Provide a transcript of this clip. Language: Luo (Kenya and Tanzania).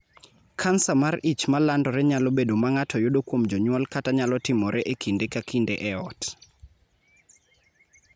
Kansa mar ich ma landore nyalo bedo ma ng�ato yudo kuom jonyuol kata nyalo timore e kinde ka kinde e ot.